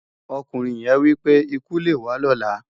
Òkúnrin yén wipé: "ikú lé wá lòlá".